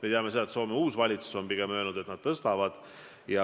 Me teame, et Soome uus valitsus on öelnud, et nad pigem tõstavad aktsiisi.